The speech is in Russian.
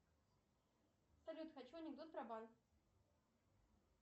салют хочу анекдот про банк